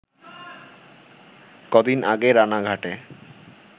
ক’দিন আগে রানাঘাটে